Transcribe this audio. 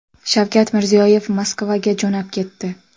Shavkat Mirziyoyev Moskvaga jo‘nab ketdi.